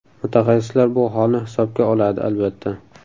Mutaxassislar bu holni hisobga oladi, albatta.